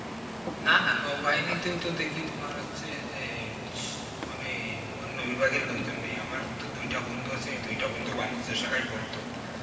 নানা নৌ বাহিনীতেও তো দেখি তোমার হচ্ছে যে, মানে অন্য বিভাগের লোকজন নেয়ে আমার তো দুইটা বন্ধু আছে দুইটা বন্ধু বাণিজ্য শাখায় পড়তো